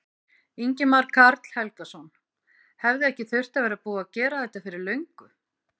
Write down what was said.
Ingimar Karl Helgason: Hefði ekki þurft að vera búið að gera þetta fyrir löngu?